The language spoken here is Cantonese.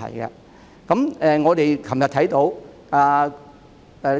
昨天，我們看到